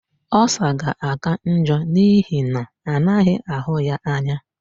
Ulcer ga-aka njọ n'ihi na anaghị ahụ ya anya.